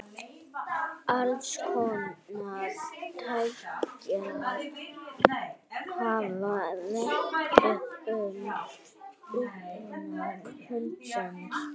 Alls konar kenningar hafa verið uppi um uppruna hundsins.